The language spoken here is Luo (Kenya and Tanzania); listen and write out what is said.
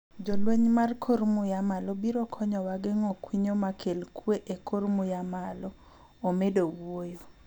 "Jolwenj kor muya malo biro konyowa geng'o kwinyo makel kwe e kor muya malo," omedo wuoyo.